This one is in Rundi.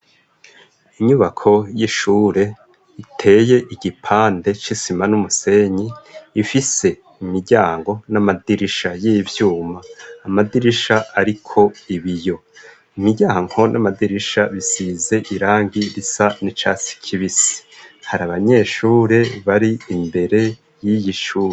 Inyubako y'ishure iteye igipande c'isima n'umusenyi ifise imiryango n'amadirisha y'ivyuma amadirisha, ariko ibiyo imiryanko n'amadirisha bisize irangi risa nicasi kibisi hari abanyeshure bari im imbere y'iyo ishuba.